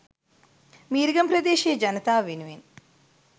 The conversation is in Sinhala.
මීරිගම ප්‍රදේශයේ ජනතාව වෙනුවෙන්